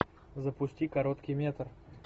запусти короткий метр